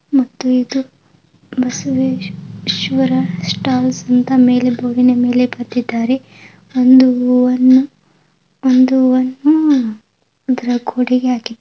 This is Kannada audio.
ಮತ್ತು ಇದು ಬಸವೇಶ್ವರ ಸ್ಟಾಲ್ಸ್ ಅಂತ ಮೇಲೇ ಬೋರ್ಡಿನ ಮೇಲೆ ಬರೆದಿದ್ದರೆ . ಒಂದು ಹೂವನ್ನು ಒಂದು ಹೂವನ್ನು ಗೋಡೆಗೆ ಹಾಕಿದ್ದಾರೆ.